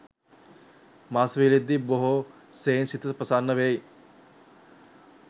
මස් වියලද්දී බොහෝ සෙයින් සිත ප්‍රසන්න වෙයි.